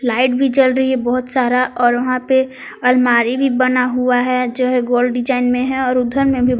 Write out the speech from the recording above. light भी जल रही है बहोत सारा और वहां पे अलमारी भी बना हुआ है जो है गोल डिजाइन में है और उधर में भी--